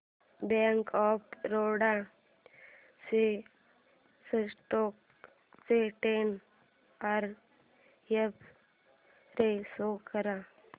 bank of Baroda च्या stock चा ten year x-ray pro show कर